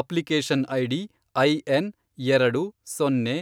application ID IN, ಎರಡು, ಸೊನ್ನೆ,